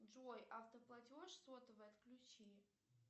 джой автоплатеж сотовый отключи